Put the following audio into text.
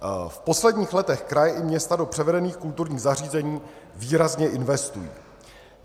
V posledních letech kraje i města do převedených kulturních zařízení výrazně investují.